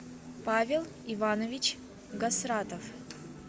павел иванович гасратов